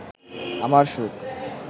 আমার সুখ